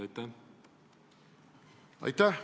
Aitäh!